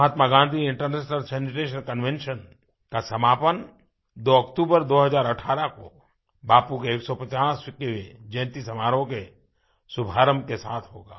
महात्मा Gandhi international sanitation convention का समापन 2 अक्तूबर 2018 को बापू के 150वीं जयंती समारोह के शुभारम्भ के साथ होगा